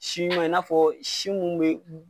Si ɲuma i n'a fɔ si mun be